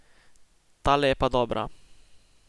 Tale je pa dobra.